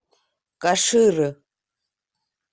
каширы